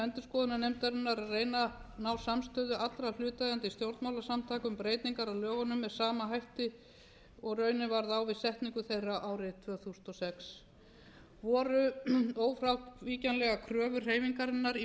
endurskoðunarnefndarinnar að reyna að ná samstöðu allra hlutaðeigandi stjórnmálasamtaka um breytingar á lögunum með sama hætti og raunin varð á við setningu þeirra árið tvö þúsund og sex voru ófrávíkjanlegur kröfur hreyfingarinnar í